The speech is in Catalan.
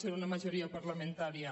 ser una majoria parlamentària